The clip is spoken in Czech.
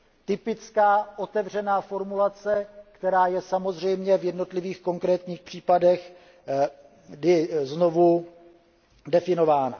Typická otevřená formulace, která je samozřejmě v jednotlivých konkrétních případech znovu definována.